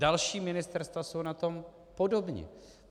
Další ministerstva jsou na tom podobně.